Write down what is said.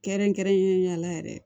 Kɛrɛnkɛrɛnnenya la yɛrɛ